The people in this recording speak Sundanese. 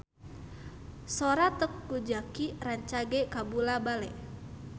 Sora Teuku Zacky rancage kabula-bale